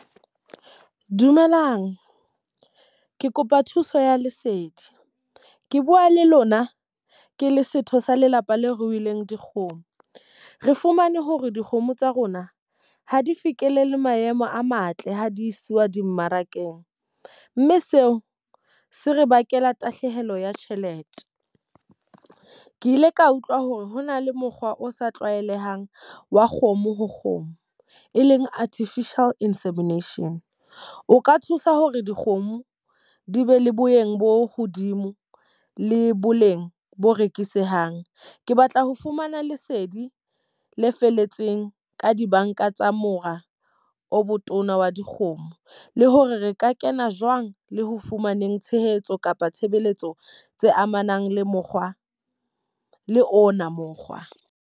Dumelang, ke kopa thuso ya lesedi. Ke bua le lona ke le setho sa lelapa leo ruwileng dikgomo. Re fumane hore dikgomo tsa rona ha di fihlelele maemo a matle ha di isiwa dimmarakeng. Mme seo se re bakela tahlehelo ya tjhelete. Ke ile ka utlwa hore ho na le mokgwa o sa tlwaelehang wa kgomo ho kgomo, e leng artificial insemination. O ka thusa hore dikgomo di be le boyeng bo hodimo le boleng bo rekisehang. Ke batla ho fumana lesedi le felletseng ka dibanka tsa mora o botona wa dikgomo. Le hore re ka kena jwang le ho fumaneng tshehetso kapa tshebeletso tse amanang le mokgwa le ona mokgwa.